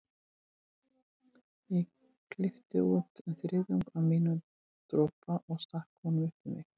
Ég klippti út um þriðjung af mínum dropa og stakk honum upp í mig.